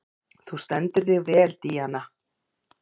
Þú stendur þig vel, Díana!